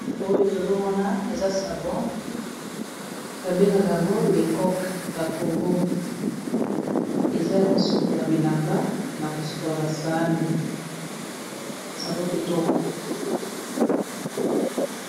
Oyo tozomona eza savo babengaka yango lekoke ya congo, eza ya kosokola bilamba na kosokola basaani savo kitoko